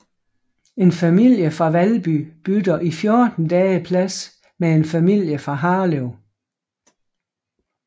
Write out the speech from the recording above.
En familie fra Valby bytter i 14 dage plads med en familie fra Harlev